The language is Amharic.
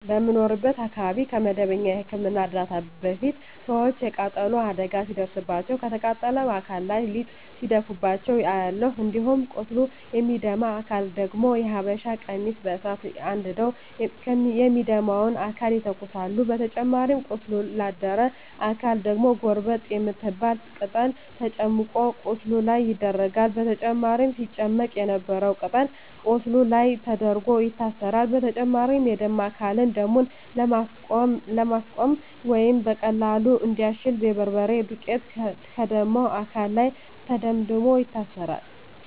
በምኖርበት አካባቢ ከመደበኛ የህክምና እርዳታ በፊት ሰወች የቃጠሎ አደጋ ሲደርስባቸው ከተቃጠለው አካል ላይ ሊጥ ሲያፈሱባቸው አያለሁ። እንዲሁም ቆስሎ ለሚደማ አካል ደግሞ የሀበሻ ቀሚስ በሳት አንድደው የሚደማውን አካል ይተኩሳሉ በተጨማሪም ቆስሎ ላደረ አካል ደግሞ ጎርጠብ የምትባል ቅጠል ተጨምቆ ቁስሉ ላይ ይደረጋል በመጨረም ሲጨመቅ የነበረው ቅጠል ቁስሉ ላይ ተደርጎ ይታሰራል። በተጨማሪም የደማ አካልን ደሙን ለማስቆመረ ወይም በቀላሉ እንዲያሽ የበርበሬ ዱቄት ከደማው አካል ላይ ተደምድሞ ይታሰራል።